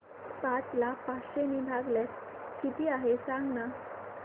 पाच ला पाचशे ने भागल्यास किती आहे सांगना